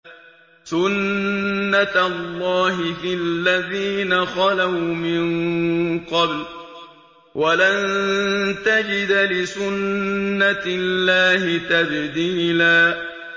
سُنَّةَ اللَّهِ فِي الَّذِينَ خَلَوْا مِن قَبْلُ ۖ وَلَن تَجِدَ لِسُنَّةِ اللَّهِ تَبْدِيلًا